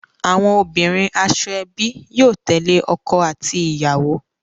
Awọn obinrin ashoebi yóò tẹle ọkọ ati iyawo.